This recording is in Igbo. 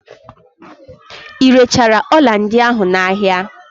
Irechara ọla ndị ahụ n'ahia?